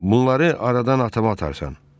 Bunları aradan atamı atarsan?